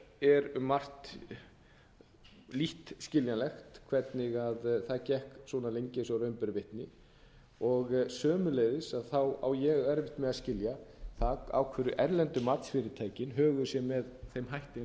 um margt lítt skiljanlegt hvernig það gekk svona lengi eins og raun ber vitni sömuleiðis á ég erfitt með að skilja það af hverju erlendu matsfyrirtækin höguðu sér með þeim hætti